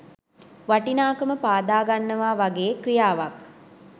වටිනාකම පාදාගන්නවා වගේ ක්‍රියාවක්.